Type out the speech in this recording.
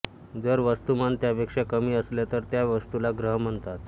जर वस्तुमान त्यापेक्षा कमी असेल तर त्या वस्तूला ग्रह म्हणतात